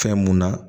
Fɛn mun na